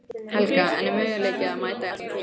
Helga: En er möguleiki að mæta í alla tímana?